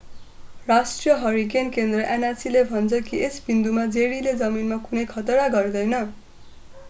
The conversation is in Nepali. राष्ट्रिय हरिकेन केन्द्र nhc ले भन्छ कि यस बिन्दुमा जेरीले जमिनमा कुनै खतरा गर्दैन।